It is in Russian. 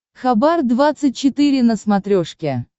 хабар двадцать четыре на смотрешке